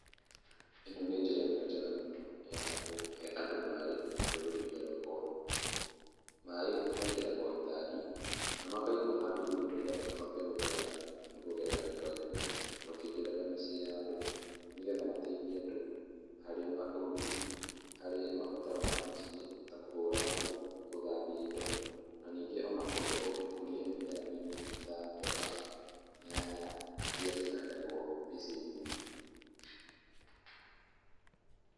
ĩno nĩ njĩra ĩmwe njega mũno ya kũhe andũ maĩ rũrĩrĩ-inĩ rwakwa. Maĩ mekĩragwo gĩtangi na makaigwo handũ igũrũ nĩgetha mahote gũtherera kũgerera mĩbaibũ makĩingĩraga mĩciĩ ya andũ nĩgetha mateithie andũ harĩ ũrugi, harĩ mabataro ma mũciĩ ta kũhũra nguo, gũthambia indo na ningĩ ona gũkũria mĩmera mĩnini ta mboga, nyanya iria cihandagwo mĩciĩ-inĩ.